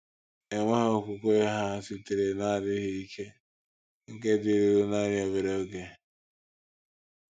Enweghị okwukwe ha sitere n’adịghị ike nke dịruru nanị obere oge.